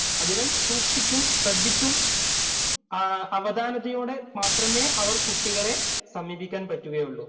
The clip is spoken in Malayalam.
അതിനാല്‍, സൂക്ഷിച്ചും, ശ്രദ്ധിച്ചും അവധാനതയോടെ മാത്രമേ അവര്‍ കുട്ടികളെ സമീപിക്കാന്‍ പറ്റുകയുള്ളൂ.